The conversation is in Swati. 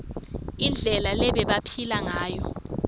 indlela lebebaphila ngayo